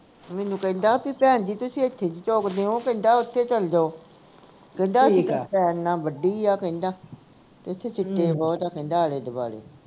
ਮੈਨੂੰ ਕਹਿੰਦਾ ਬੀ ਭੈਣਜੀ ਤੁਸੀਂ ਐਥੇ ਕਿ ਚੁਗਦੇ ਹੋ ਕਹਿੰਦਾ ਓਥੇ ਚੱਲ ਜਾਓ ਕਹਿੰਦਾ ਵੱਡੀ ਆ ਕਹਿੰਦਾ ਤੇ ਓਥੇ ਸਿੱਟੇ ਬਹੁਤ ਆ ਆਲੇ ਦੁਆਲੇ